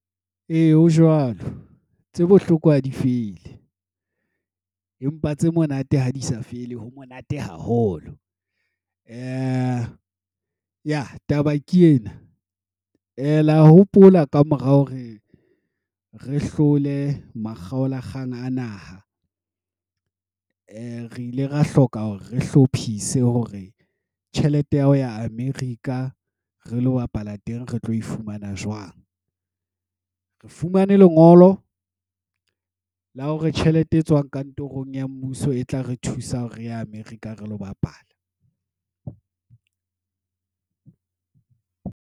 Ee, ho jwalo. Tse bohloko ha di fele. Empa tse monate ha di sa fele, ho monate haholo. Taba ke ena, la hopola ka mora hore re hlole makgaola kgang a naha. Re ile ra hloka hore re hlophise hore tjhelete ya hao ya America re lo bapala teng re tlo e fumana jwang? Re fumane lengolo, la hore tjhelete e tswang kantorong ya mmuso e tla re thusa hore re ya America re lo bapala.